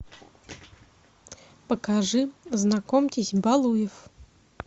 покажи знакомьтесь балуев